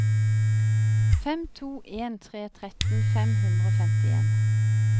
fem to en tre tretten fem hundre og femtien